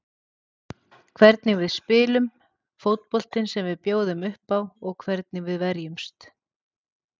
Hvernig við spilum, fótboltinn sem við bjóðum uppá og hvernig við verjumst.